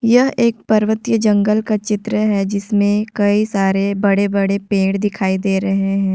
यह एक पर्वतीय जंगल का चित्र है जिसमें कई सारे बड़े-बड़े पेड़ दिखाई दे रहे हैं।